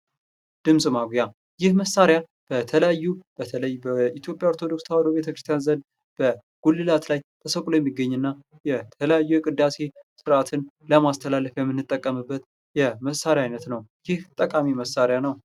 ድምጽ ማጉያ ይህ መሣሪያ በተለያዩ በተለይ በኢትዮጵያ ኦርቶዶክስ ተዋህዶ ቤተክርስቲያን ዘንድ በጉልላት ላይ ተሰቅሎ የሚገኝና የተለያዩ የቅዳሴ ስርዓትን ለማስተላለፊያ የምንጠቀምበት የመሳሪያ አይነት ነው። ይህ ጠቃሚ መሣሪያ ነው!